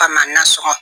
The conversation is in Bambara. Kama nasɔgɔ